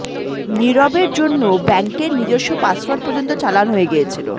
নীরবের জন্য ব্যাঙ্কের নিজস্ব পাসওয়ার্ড পর্যন্ত চালান হয়ে গিয়েছিল